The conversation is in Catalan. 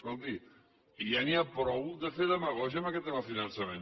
escolti ja n’hi ha prou de fer demagògia amb aquest tema del finançament